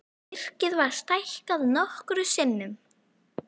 Virkið var stækkað nokkrum sinnum.